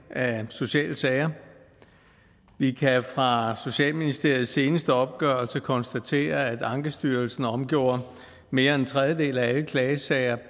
af sociale sager vi kan fra socialministeriets seneste opgørelse konstatere at ankestyrelsen omgjorde mere end en tredjedel af alle klagesager